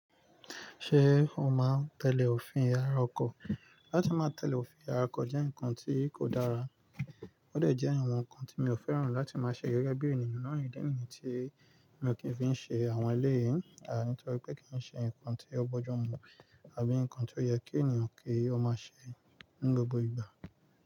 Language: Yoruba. Ṣé o máa ń tẹ̀lé òfin ara ọkọ̀? Láti máa tẹ̀lé òfin ara ọkọ̀ jẹ́ nǹkan tí kò dára, ó dà jẹ́ àwọn nǹkan tí mi ò fẹ́ràn láti máa ṣe gẹ́gẹ́ bí ènìyàn náà ni dé níyen tí mi ò kí ń fi ṣe àwọn eléyi, à nítorí pé kì í ṣe nǹkan tí ó bọ́jọ́mú àbí nǹkan tí ó yẹ kí ènìyàn kí ó máa ṣe ní gbogbo ìgbà.